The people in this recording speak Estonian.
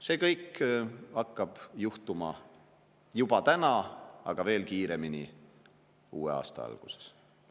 See kõik hakkab juhtuma juba täna, kuid veel kiiremini uue aasta alguses.